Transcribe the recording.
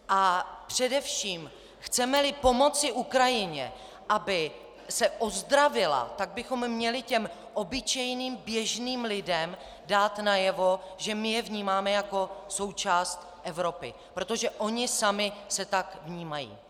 A především chceme-li pomoci Ukrajině, aby se ozdravila, tak bychom měli těm obyčejným běžným lidem dát najevo, že je vnímáme jako součást Evropy, protože oni sami se tak vnímají.